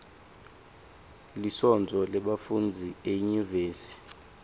lisontfo lebafundzi enyuvesi